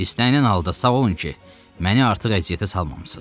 İstənilən halda sağ olun ki, məni artıq əziyyətə salmamışsız.